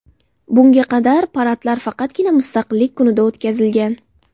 Bunga qadar paradlar faqatgina Mustaqillik kunida o‘tkazilgan.